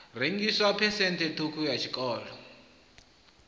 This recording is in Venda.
rengiswa phesenthe ṱhukhu ya tshiṱoko